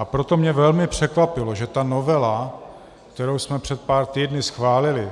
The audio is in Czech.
A proto mě velmi překvapilo, že ta novela, kterou jsme před pár týdny schválili,